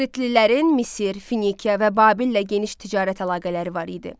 Kritlilərin Misir, Finikiya və Babillə geniş ticarət əlaqələri var idi.